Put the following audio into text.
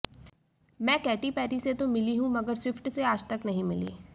मैं Katy Perry से तो मिली भी हूं मगर स्विफ्ट से आजतक नहीं मिली